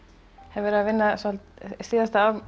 hef verið að vinna svolítið síðasta